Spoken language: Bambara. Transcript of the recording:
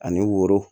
Ani woro